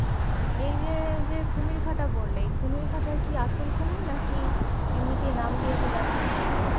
এই যে এই যে কুমির ঘাটা বললে এ কুমির ঘটায় কি আসল কুমির নাকি এমনিতে নাম দিয়েছে just কুমির